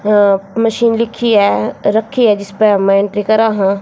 अ machine लिखि है रखी है जिसपे मैंन की तरह--